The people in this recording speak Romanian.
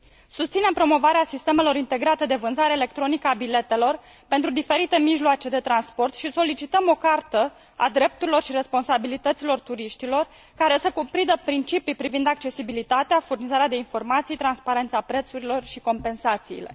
Susținem promovarea sistemelor integrate de vânzare electronică a biletelor pentru diferite mijloace de transport și solicităm o cartă a drepturilor și responsabilităților turiștilor, care să cuprindă principii privind accesibilitatea, furnizarea de informații, transparența prețurilor și compensațiile.